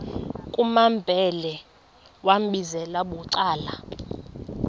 kumambhele wambizela bucala